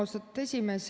Austatud esimees!